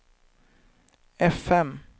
fm